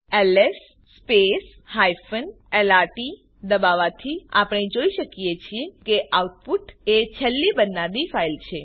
LS lrt દબાવવાથી આપણે જોઈ શકીએ છીએ કે આઉટપુટ એ છેલ્લી બનનારી ફાઈલ છે